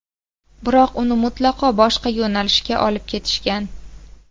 Biroq uni mutlaqo boshqa yo‘nalishga olib ketishgan.